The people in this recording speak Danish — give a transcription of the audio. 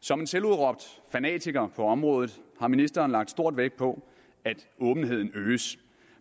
som en selvudråbt fanatiker på området har ministeren lagt stor vægt på at åbenheden øges